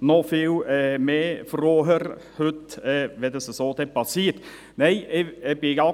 noch froher, wenn das entsprechend geschieht.